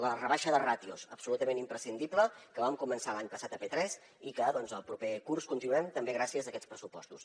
la rebaixa de ràtios absolutament imprescindible que vam començar l’any passat a p3 i que doncs el proper curs continuarem també gràcies a aquests pressupostos